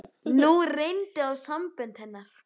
Nú reyndi á sambönd hennar.